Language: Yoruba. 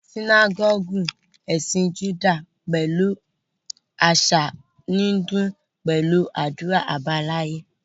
Sínágọ́gù ẹ̀sìn Júdà pẹ̀lú àṣà ń dún pẹ̀lú àdúrà àbáláyé